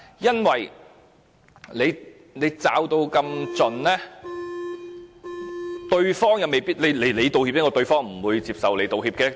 因為如果道歉者獲得這樣嚴密的保護，對方未必會接受道歉。